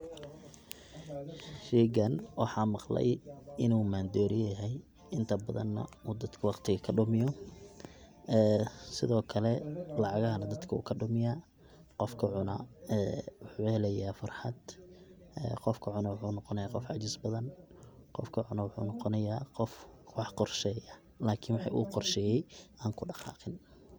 Sheygan waxan maqlay in u mandowriya yahay inta badana uu dadka waqtiga kadumiyo sido kale lacagahana dadka wukadhumiya, qofka cuna wuxu helaya farxad qofka cuna wuxu noqonaya qof cajis badan, qofka cuno wuxu noqonaya qof wax qorsheya lakin wixi u qorsheye an kudhaqaqin.